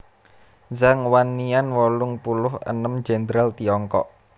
Zhang Wannian wolung puluh enem Jèndral Tiongkok